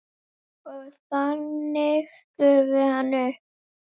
Og þannig gufi hann upp?